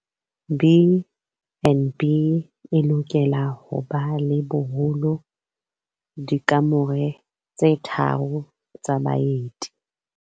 BnB e lokela ho ba le boholo dikamore tse tharo tsa baeti.